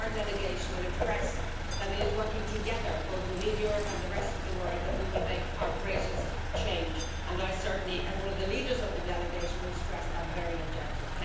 I hope our delegation will impress that it is working together, both within Europe and the rest of the world, so that we will make our greatest change and I certainly, as one of the leaders of the delegation, will stress that very objective.